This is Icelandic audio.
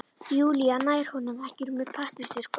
Júlía nær honum ekki úr með pappírsþurrkum.